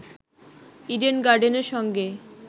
Eden গার্ডেনের সঙ্গে